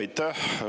Aitäh!